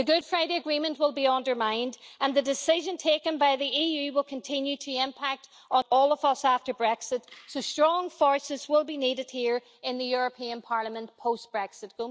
The Good Friday Agreement will be undermined and the decision taken by the EU will continue to impact all of us after Brexit, so strong voices will be needed here in the European Parliament post Brexit.